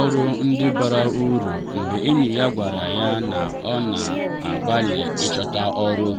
ọrụ ndị bara uru mgbe enyi ya gwara ya na ọ na-agbalị ịchọta ọrụ.